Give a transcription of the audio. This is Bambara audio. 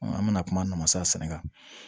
An bɛna kuma nafa sɛnɛ kan